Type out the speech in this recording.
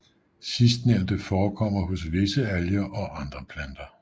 Sidstnævnte forekommer hos visse alger og andre planter